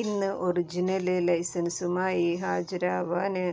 ഇന്ന് ഒറിജിനല് ലൈസന്സുമായി ഹാജരാവാന്